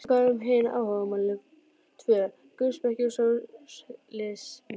En hvað um hin áhugamálin tvö: guðspeki og sósíalisma?